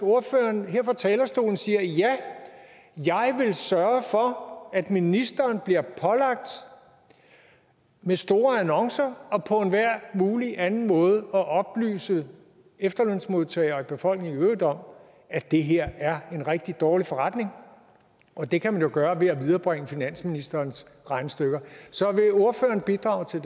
ordføreren her fra talerstolen siger ja jeg vil sørge for at ministeren bliver pålagt med store annoncer og på enhver mulig anden måde at oplyse efterlønsmodtagere og befolkningen i øvrigt om at det her er en rigtig dårlig forretning og det kan man jo gøre ved at viderebringe finansministerens regnestykker så vil ordføreren bidrage til